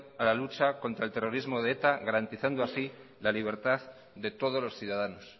a la lucha contra el terrorismo de eta garantizando así la libertad de todos los ciudadanos